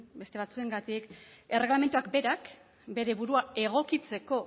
beste batzuengatik erregelamenduak berak bere burua egokitzeko